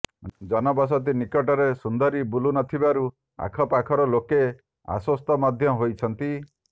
ଜନ ବସତି ନିକଟରେ ସୁନ୍ଦରୀ ବୁଲୁ ନଥିବାରୁ ଆଖପାଖର ଲୋକେ ଆଶ୍ବସ୍ତ ମଧ୍ୟ ହୋଇଛନ୍ତି